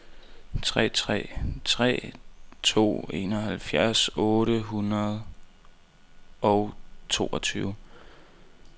tre tre tre to enoghalvfjerds otte hundrede og toogtyve